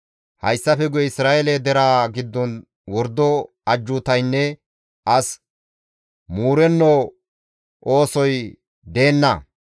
Hayssafe guye Isra7eele deraa giddon wordo ajjuutaynne as muurenno oosoy deenna.